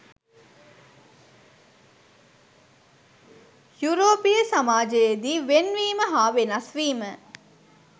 යුරෝපීය සමාජයේ දී ‘වෙන්වීම’ හා ‘වෙනස් වීම’